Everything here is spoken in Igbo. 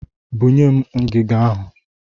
Bunye m ngiga ahụ!